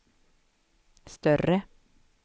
större